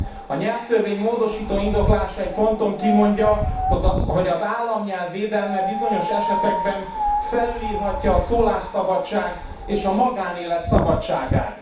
A nyelvtörvény módosító indoklása egy ponton kimondja, hogy az államnyelv védelme bizonyos esetekben felülírhatja a szólásszabadság és a magánélet szabadságát.